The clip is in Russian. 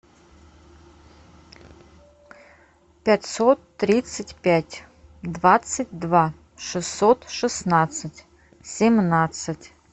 пятьсот тридцать пять двадцать два шестьсот шестнадцать семнадцать